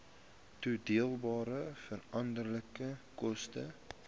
toedeelbare veranderlike koste